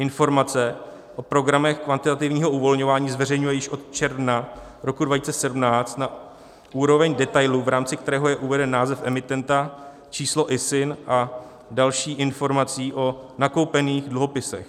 Informace o programech kvantitativního uvolňování zveřejňuje již od června roku 2017 na úroveň detailu, v rámci kterého je uveden název emitenta, číslo ISIN a další informace o nakoupených dluhopisech.